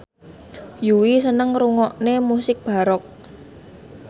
Yui seneng ngrungokne musik baroque